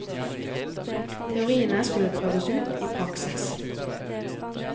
Teoriene skulle prøves ut i praksis.